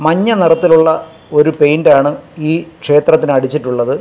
മഞ്ഞ നിറത്തിലുള്ള ഒരു പെയിന്റാണ് ഈ ക്ഷേത്രത്തിന് അടിച്ചിട്ടുള്ളത്.